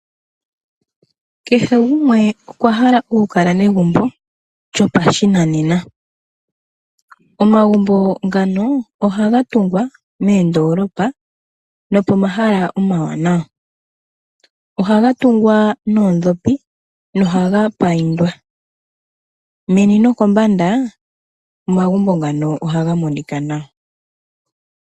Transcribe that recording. Kehe gumwe okwahala oku kala negumbo lyopashinanena . Omagumbo ngano ohaga tungwa moondoolopa nopomahala omawanawa. Ohaga tungwa noondhopi nohaga payindwa . Meni nokombanda omagumbo ngano ohaga monika nawa.